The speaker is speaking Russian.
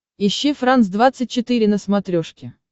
ищи франс двадцать четыре на смотрешке